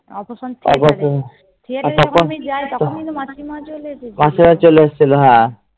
operation theater এ আমি যাই তখনি তো মাসি মা চলে